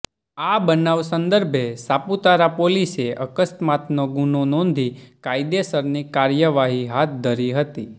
આ બનાવ સંદર્ભે સાપુતારા પોલીસે અકસ્માતનો ગુનો નોધી કાયદેસરની કાર્યવાહી હાથ ધરી હતી